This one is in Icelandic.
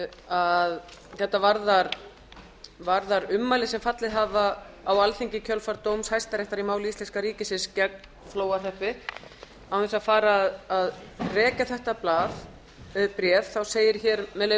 að þetta varðar ummæli sem fallið hafi á alþingi í kjölfar dóms hæstaréttar í máli íslenska ríkisins gegn flóahreppi án þess að fara að rekja þetta bréf þá segir með leyfi